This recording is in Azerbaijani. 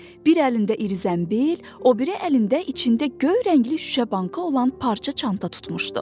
Bir əlində iri zənbil, o biri əlində içində göy rəngli şüşə bankı olan parça çanta tutmuşdu.